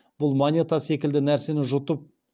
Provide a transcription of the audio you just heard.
бұл монета секілді нәрсені жұтып